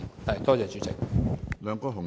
多謝主席。